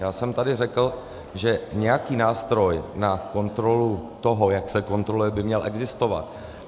Já jsem tady řekl, že nějaký nástroj na kontrolu toho, jak se kontroluje, by měl existovat.